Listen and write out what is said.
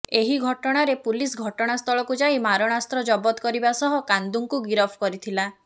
ଏହି ଘଟଣାରେ ପୁଲିସ ଘଟଣାସ୍ଥଳକୁ ଯାଇ ମାରଣାସ୍ତ୍ର ଜବତ କରିବା ସହ କାନ୍ଦୁଙ୍କୁ ଗିରଫ କରିଥିଲା